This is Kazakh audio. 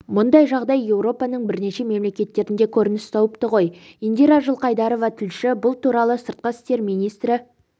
мұндай жағдай еуропаның бірнеше мемлекеттерінде көрініс тауыпты ғой индира жылқайдарова тілші бұл туралы сыртқы істер министрі